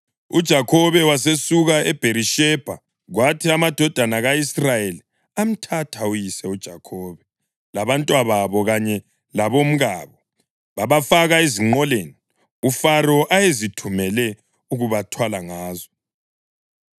UJakhobe wasesuka eBherishebha, kwathi amadodana ka-Israyeli amthatha uyise uJakhobe, labantwababo kanye labomkabo babafaka ezinqoleni uFaro ayezithumele ukubathwala ngazo.